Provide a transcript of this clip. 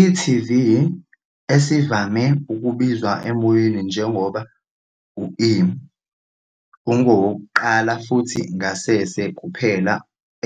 e.tv, esivame ukubizwa emoyeni njengoba e, ungowokuqala futhi ngasese kuphela